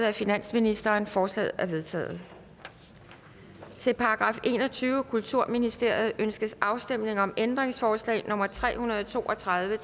af finansministeren forslagene er vedtaget til § enogtyvende kulturministeriet ønskes afstemning om ændringsforslag nummer tre hundrede og to og tredive